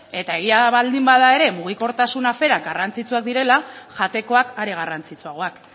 eta egia baldin bada ere mugikortasun aferan garrantzitsuak direla jatekoak are garrantzitsuagoak